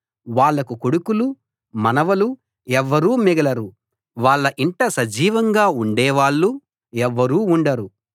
వాళ్లకు కొడుకులు మనవలు ఎవ్వరూ మిగలరు వాళ్ళ ఇంట సజీవంగా ఉండే వాళ్ళు ఎవ్వరూ ఉండరు